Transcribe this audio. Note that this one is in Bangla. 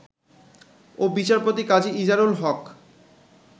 ও বিচারপতি কাজী ইজারুল হক